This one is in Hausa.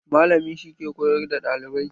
Malami shi ke koyar da ɗalibai.